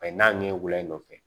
A ye n'a ɲɛ guwɛlen dɔ fɛ